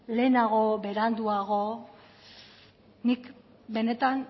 lehenago beranduago nik benetan